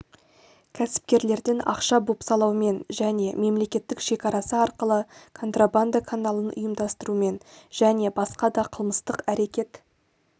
кәсіпкерлерден ақша бопсалаумен және мемлекеттік шекарасы арқылы контрабанда каналын ұйымдастырумен және басқа да қылмыстық әрекет